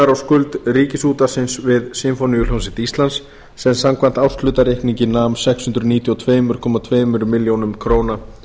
á skuld ríkisútvarpsins við sinfóníuhljómsveit íslands sem samkvæmt árshlutareikningi nam sex hundruð níutíu og tvö komma tveimur milljónum króna